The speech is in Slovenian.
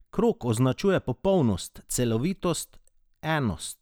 Krog označuje popolnost, celovitost, enost.